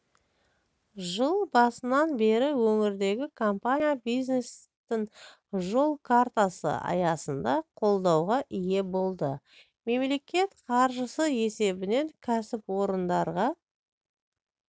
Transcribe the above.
жыл басынан бері өңірдегі компания бизнестің жол картасы аясында қолдауға ие болды мемлекет қаржысы есебінен кәсіпорындарға